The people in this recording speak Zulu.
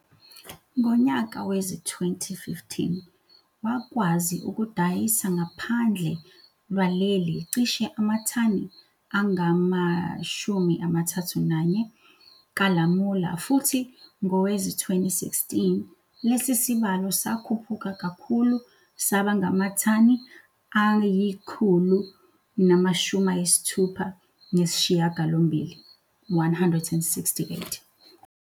Ngonyaka wezi-2015, wakwazi ukudayisa ngaphandle lwaleli cishe amathani angama-31 kalamula futhi ngowezi-2016, lesi sibalo sakhuphuka kakhulu sabangamathani angu-168.